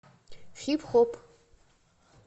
хип хоп